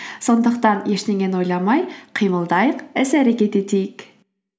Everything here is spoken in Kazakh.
сондықтан ештеңені ойламай қимылдайық іс әрекет етейік